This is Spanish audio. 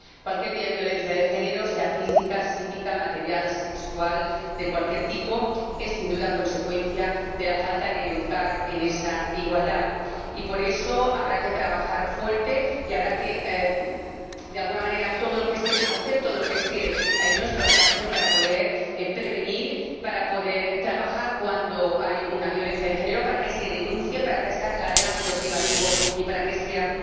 Cualquier tipo de violencia de género —sea física, psíquica, material, sexual de cualquier tipo— es, sin duda, consecuencia de la falta de educar en esa igualdad, y por eso habrá que trabajar fuerte y habrá que, de alguna manera, hacer todo lo que esté a nuestro alcance para poder prevenir, para poder trabajar cuando hay una violencia de género, para que se denuncie, para que salga del ámbito privativo y para que sea